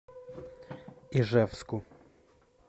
ижевску